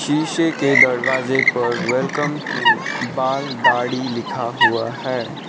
शीशे के दरवाजे पर वेलकम टू बाल दाढ़ी लिखा हुआ है।